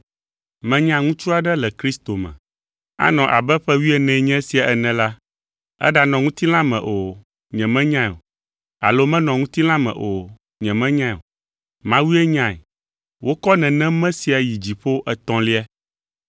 Menya ŋutsu aɖe le Kristo me. Anɔ abe ƒe wuienee nye esia ene la, eɖanɔ ŋutilã me o, nyemenyae o, alo menɔ ŋutilã me o, nyemenyae o; Mawue nyae. Wokɔ nenem me sia yi dziƒo etɔ̃lia.